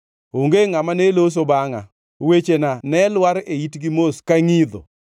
Onge ngʼama ne loso bangʼa; wechena ne lwar e itgi mos ka ngʼidho.